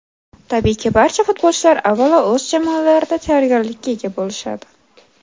Tabiiyki, barcha futbolchilar avvalo o‘z jamoalarida tayyorgarlikka ega bo‘lishadi.